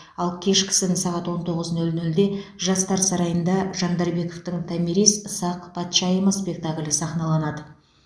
ал кешкісін сағат он тоғыз нөл нөлде жастар сарайында жандарбековтің томирис сақ патшайымы спектаклі сахналанады